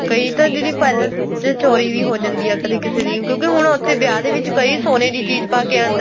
ਕਈ ਤਾਂ ਜਿਹੜੇ palace ਚੋਰੀ ਵੀ ਹੋ ਜਾਂਦੀ ਏ ਕਦੇਂ ਕਿਸੇ ਦੇ ਕਿਉਂਕਿ ਹੁਣ ਉੱਥੇ ਵਿਆਹ ਦੇ ਵਿੱਚ ਕਈ ਸੋਨੇ ਦੀ ਚੀਜ਼ ਪਾਕੇ ਆਂਦਾ ਏ